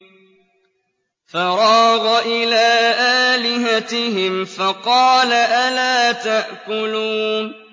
فَرَاغَ إِلَىٰ آلِهَتِهِمْ فَقَالَ أَلَا تَأْكُلُونَ